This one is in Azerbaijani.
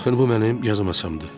Baxın bu mənim yazı masamdır.